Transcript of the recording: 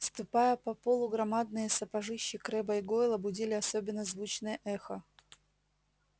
ступая по полу громадные сапожищи крэбба и гойла будили особенно звучное эхо